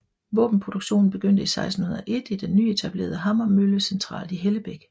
Våbenproduktionen begyndte i 1601 i den nyetablerede hammermølle centralt i Hellebæk